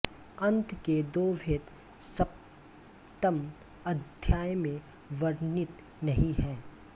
अंत के दो भेद सप्तमअध्याय में वर्णित नहीं हैं